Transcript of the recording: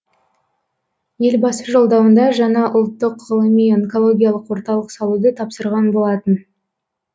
елбасы жолдауында жаңа ұлттық ғылыми онкологиялық орталық салуды тапсырған болатын